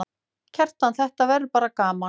Kjartan: Þetta verður bara gaman?